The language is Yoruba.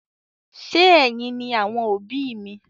Ṣe ẹyìn ni àwọn òbí mi?